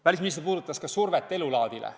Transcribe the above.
Välisminister puudutas ka survet elulaadile.